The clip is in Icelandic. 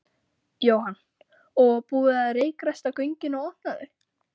Jóhann: Og búið að reykræsta göngin og opna þau?